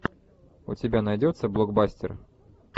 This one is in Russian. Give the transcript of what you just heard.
у тебя найдется блокбастер